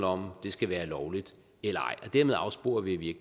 om det skal være lovligt eller og dermed afsporer vi i